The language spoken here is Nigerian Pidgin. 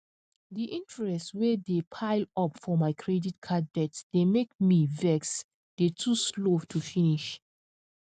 di interest wey dey pile up for my credit card debt dey make me vexe dey too slow to finish